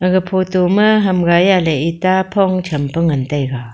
ag photo ma ham gai aley ita phong champe ngantaiga.